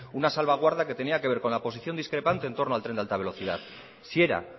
una salvaguarda que tenía que ver con la posición discrepante en torno al tren de alta velocidad si era